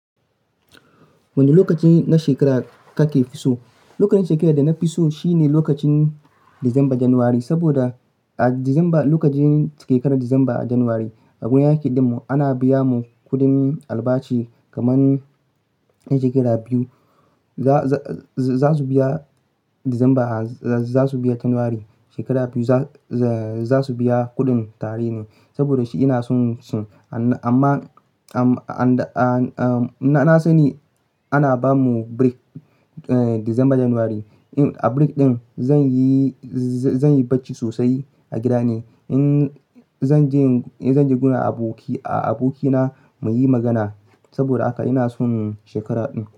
Wane lokaci na shekara kake fi so? Lokacin shekara da na fi so shine lokacin Disamba, Janairu. Saboda a Disamba, lokacin shekarar Disamba Janairu aiki dim mu ana biya mu kudin albashi kaman shekara biyu. Za su biya Disamba, za su biya Janairu. Shekara biyu za su biya kuɗin tare ne. Saboda shi ina son shi amma na sani ana bamu break Disamba Janairu. A break ɗin zan yi bacci sosai a gida ne. Zan je gun abokina muyi magana. Saboda haka ina son shekara ɗin.